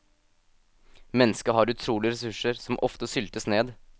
Mennesket har utrolige ressurser som ofte syltes ned.